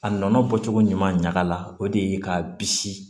A nɔnɔ bɔcogo ɲuman ɲaga la o de ye k'a bisi